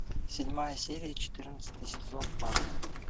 седьмая серия четырнадцатый сезон фарго